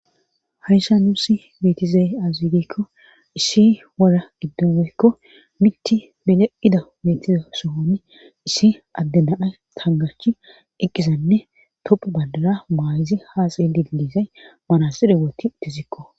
Haysa nussi beetizayi azirekko isshi wora iddumoykko mitti bileida beetiza sohoni issi adde nanay tangarchi eqqizanne toppu badara maayizi haaxey didizay manazire wooti tizikko.